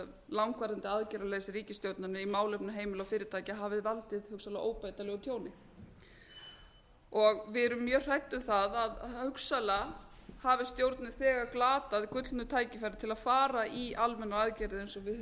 langvarandi aðgerðarleysi ríkisstjórnarinnar í málefnum heimila og fyrirtækja hafi valdið hugsanlega óbætanlegu tjóni við erum mjög hrædd um það að hugsanlega hafi stjórnin þegar glatað gullnu tækifæri til að fara í almennar aðgerðir eins og við höfum